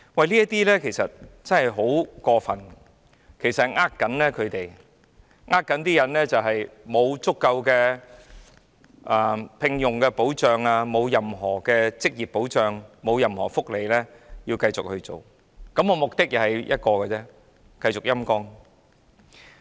這其實真的很過分，是在欺騙員工，他們沒有足夠的職業保障，亦沒有任何福利，但還要繼續做，而目的只有一個，就是繼續"陰乾"港台。